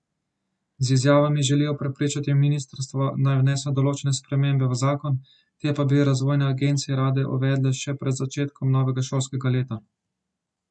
Z izjavami želijo prepričati ministrstvo naj vnese določene spremembe v zakon, te pa bi razvojne agencije rade uvedle še pred začetkom novega šolskega leta.